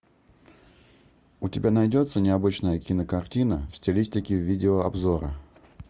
у тебя найдется необычная кинокартина в стилистике видео обзора